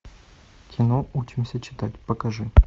кино учимся читать покажи